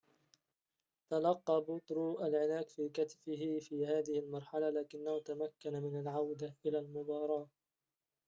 تلقى بوترو العلاج في كتفه في هذه المرحلة لكنه تمكن من العودة إلى المباراة